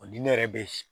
O di ne yɛrɛ be